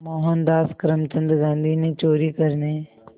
मोहनदास करमचंद गांधी ने चोरी करने